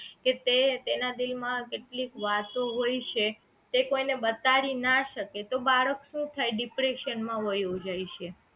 કે તે તેના દિલ માં કેટલીક વાતો હોય છે તે કોઈ ને બતાડી ના શકે તો બાળક શું થાય depression માં વહ્યો જાય છે